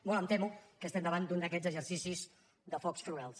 molt em temo que estem davant d’un d’aquests exercicis de focs florals